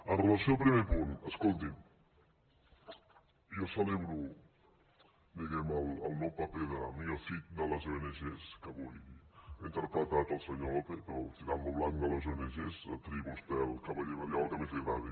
amb relació al primer punt escoltin jo celebro diguem ne el nou paper de mío cid de les ong que avui ha interpretat el senyor lópez o el tirant lo blanc de les ong triï vostè el cavaller medieval que més li agradi